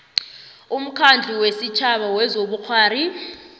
umkhandlu wesitjhaba wezobukghwari